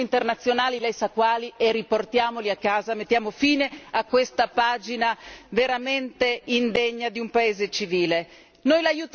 Coinvolga gli organismi internazionali lei sa quali e riportiamoli a casa. Mettiamo fine a questa pagina veramente indegna di un Paese civile.